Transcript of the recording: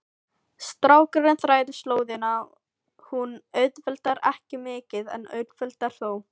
Strákurinn þræðir slóðina, hún auðveldar ekki mikið en auðveldar þó.